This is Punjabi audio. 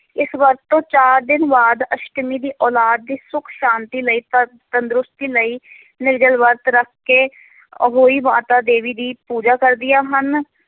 ਇਸ ਵਰਤ ਤੋਂ ਚਾਰ ਦਿਨ ਬਾਅਦ ਅਸ਼ਟਮੀ ਦੀ ਔਲਾਦ ਦੀ ਸੁੱਖ ਸ਼ਾਂਤੀ ਲਈ ਤੰਦ ਤੰਦਰੁਸਤੀ ਲਈ ਨਿਰਜਲ ਵਰਤ ਰੱਖ ਕੇ ਅਹੋਈ ਮਾਤਾ ਦੇਵੀ ਦੀ ਪੂਜਾ ਕਰਦੀਆਂ ਹਨ।